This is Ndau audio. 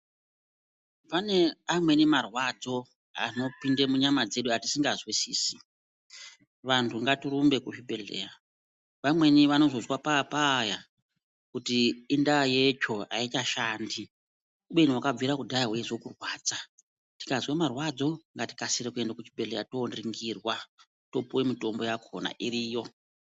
Pane amweni marwadzo anopinde munyama dzedu atisikazwisisi Vantu ngatirumbe kuzvibhedhleya vamweni vanozozwa papaya kuti indaa yetsvo aichashandi kubeni wakabvire kudhaya weizwe kurwadza tikazwe marwadzo ngatikasire kuende kuchibhedhleya toningirwa topuwe mitombo yakhona iriyo.